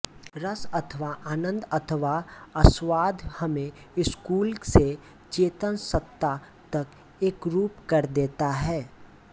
रस अथवा आनन्द अथवा आस्वाद्य हमें स्थूल से चेतन सत्ता तक एकरूप कर देता है